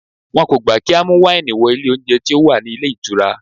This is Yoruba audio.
Wọn kò gbà kí á mú wáìnì wọ ilé oúnjẹ tí ó wà ní ilé ìtura.